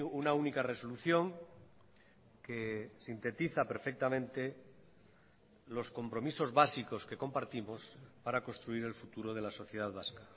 una única resolución que sintetiza perfectamente los compromisos básicos que compartimos para construir el futuro de la sociedad vasca